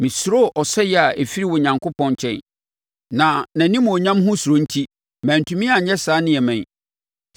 Mesuroo ɔsɛeɛ a ɛfiri Onyankopɔn nkyɛn, na nʼanimuonyam ho suro enti mantumi anyɛ saa nneɛma yi.